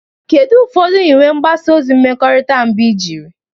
Kedu ụfọdụ nyiwe mgbasa ozi mmekọrịta mbụ ị jiri?